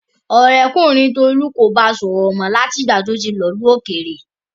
Ọ̀rẹ́kùnrin Tolu kò bá sọ̀rọ̀ mọ́ láti ìgbà tí ó ti lọ ìlú òkèèrè.